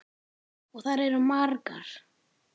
Og þær eru margar.